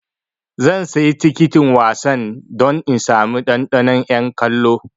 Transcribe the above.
Zan sayi tikitin wasan don in sami ɗanɗanon 'yan kallo.